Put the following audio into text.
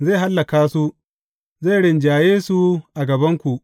Zai hallaka su, zai rinjaye su a gabanku.